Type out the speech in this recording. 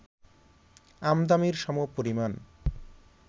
আমদানির সমপরিমাণ